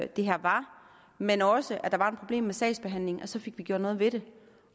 det her var men også at der var et problem med sagsbehandlingen så fik vi gjort noget ved det